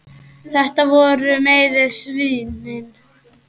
Þetta voru meiri svínin.